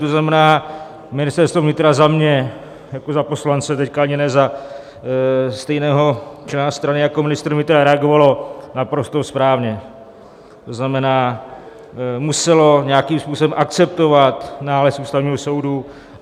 To znamená, Ministerstvo vnitra za mě jako za poslance, teď ani ne za stejného člena strany jako ministr vnitra, reagovalo naprosto správně, to znamená, muselo nějakým způsobem akceptovat nález Ústavního soudu.